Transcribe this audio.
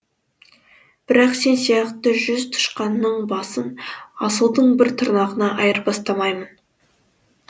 бірақ сен сияқты жүз тышқанның басын асылдың бір тырнағына айырбастамаймын